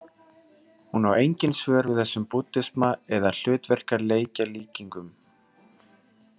Hún á engin svör við þessum búddisma eða hlutverkaleikjalíkingum.